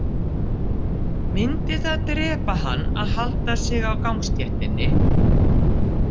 Myndi það drepa hann að halda sig á gangstéttinni?